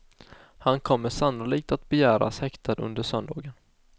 Han kommer sannolikt att begäras häktad under söndagen.